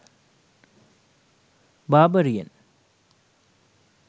barbarian